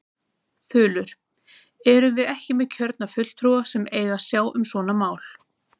Þulur: Erum við ekki með kjörna fulltrúa sem eiga að sjá um svona mál?